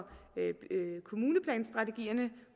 kommuneplanstrategierne